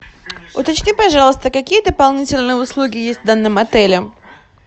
уточни пожалуйста какие дополнительные услуги есть в данном отеле